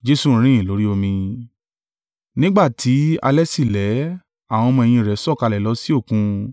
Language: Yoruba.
Nígbà tí alẹ́ sì lẹ́, àwọn ọmọ-ẹ̀yìn rẹ̀ sọ̀kalẹ̀ lọ sí Òkun.